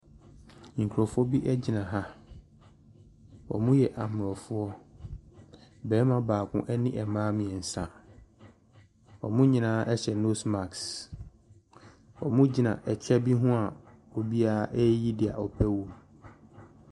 Nkrɔfoɔ bi gyina ha ɔmɔ yɛ aborɔfo barima baako na ɔbaa baako ɔmɔ nyinaa hyɛ nose mask ɔmɔ gyina ɛkyɛw bi hɔn a ɔbiaa yɛ deɛ ɔpɛ wɔ mu.